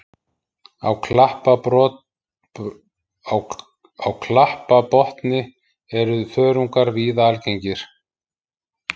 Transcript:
Á klapparbotni eru þörungar víða algengir.